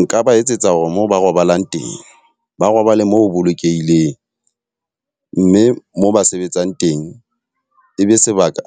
Nka ba etsetsa hore mo ba robalang teng, ba robale mo ho bolokehileng. Mme moo ba sebetsang teng, e be sebaka